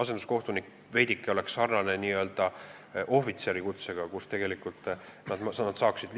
See oleks veidike sarnane ohvitseri kutsega, tegelikult neil oleks suurem tasu.